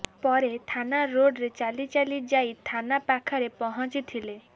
ପରେ ଥାନା ରୋଡ୍ରେ ଚାଲି ଚାଲି ଯାଇ ଥାନା ପାଖରେ ପହଞ୍ଚିଥିଲା